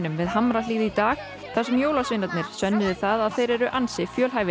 við Hamrahlíð í dag þar sem jólasveinarnir sönnuðu það að þeir eru ansi fjölhæfir